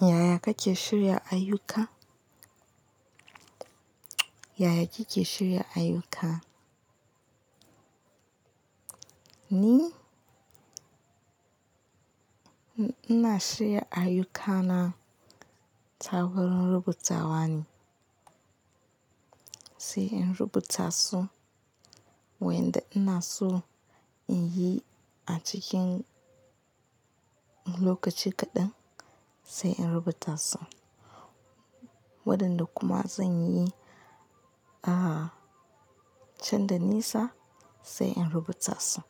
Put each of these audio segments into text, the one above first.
Yaya kake shirya ayyuka? Yaya kike shirya ayyuka? Ni, ina shirya ayyukana ta wurin rubutawa ne, sai in rubuta su wayanda ina so in yi a cikin lokaci kaɗan, sai in rubuta su. Waɗanda kuma zan yi, ah, can da nisa sai in rubuta su.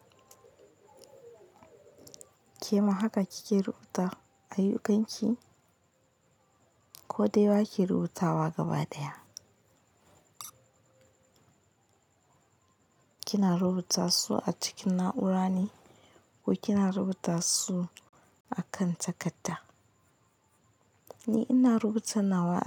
Kema haka kike rubuta ayyukanki? Ko dai ba ki rubutawa gabaɗaya? Kina rubuta su a cikin na'ura ne ko kina rubuta su a kan takadda? Ni ina rubuta nawa a.